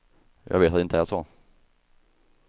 Jag vet att det inte är så.